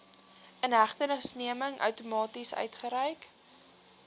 inhegtenisneming outomaties uitgereik